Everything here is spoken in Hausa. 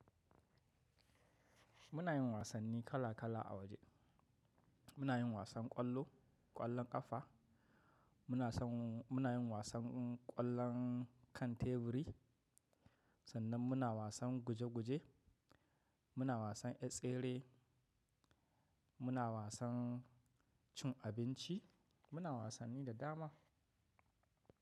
Muna yin wasanni kala kala a waje. Muna yin wasan ƙwallo, ƙwallon ƙafa, muna san muna yin wasan ƙwallon kan teburi sannan muna wasan guje guje, muna wasan tsere, muna wasan cin abinci, muna wasanni da dama.